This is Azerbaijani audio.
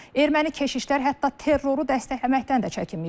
Erməni keşişlər hətta terroru dəstəkləməkdən də çəkinməyiblər.